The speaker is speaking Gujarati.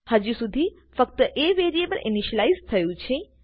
હજુ સુધી ફક્ત એ વેરીએબલ ઈનીશીલાઈઝ થયું છે